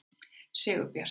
Sigurbjartur